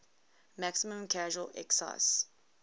maximum casual excise